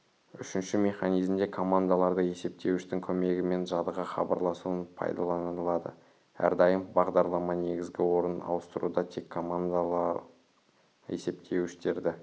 үшінші механизмде командаларды есептеуіштің көмегімен жадыға хабарласуын пайдаланылады әрдайым бағдарлама негізгі орын ауыстыруда тек командалы есептеуіштерді